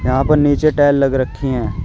यहां पर नीचे टाइल लगा रखी हैं।